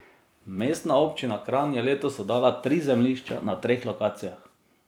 Mestna občina Kranj je letos oddala tri zemljišča na treh lokacijah.